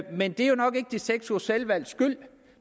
men det er jo nok ikke de seks ugers selvvalgts skyld